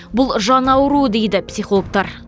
бұл жан ауруы дейді психологтар